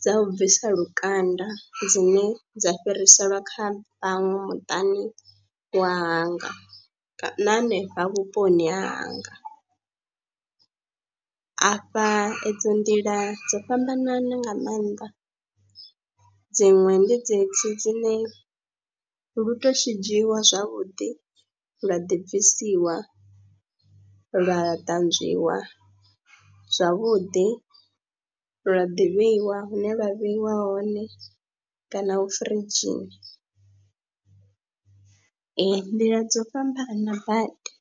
dza u bvisa lukanda dzine dza fhiriselwa kha vhaṅwe muṱani wanga na hanefha vhuponi hanga, afha edzo nḓila dzo fhambananaho nga maanḓa dziṅwe ndi dzedzi dzine lu tou shidzhiwa zwavhuḓi lwa ḓibvisiwa, lwa ṱanzwiwa zwavhuḓi, lwa ḓi vheiwa hune lwa vheiwa hone kana hu firidzhini, eya nḓila dzo fhambana badi.